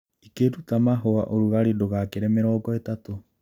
Ĩkĩruta mahũa ũrugalĩ ndũgakĩre mĩrongo ĩtatũ